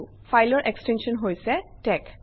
ফাইলৰ এক্সটেনশ্যন হৈছে tex